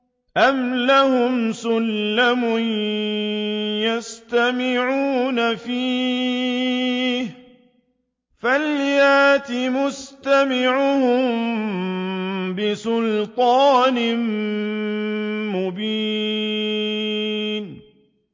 أَمْ لَهُمْ سُلَّمٌ يَسْتَمِعُونَ فِيهِ ۖ فَلْيَأْتِ مُسْتَمِعُهُم بِسُلْطَانٍ مُّبِينٍ